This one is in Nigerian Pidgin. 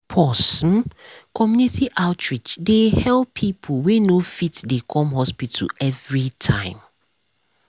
pause - um community outreach um dey help um people wey no fit dey come hospital every time.